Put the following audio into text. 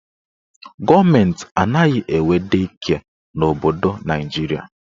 Gọọmenti anaghị enwe dei kịe n'obodo Naijiria.